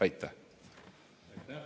Aitäh!